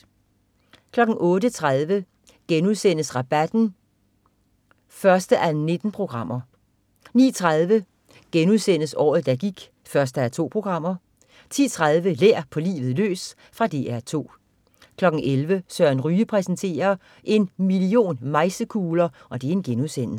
08.30 Rabatten 1:19* 09.30 Året der gik 1:2* 10.30 Lær på livet løs. Fra DR 2 11.00 Søren Ryge præsenterer. En million mejsekugler*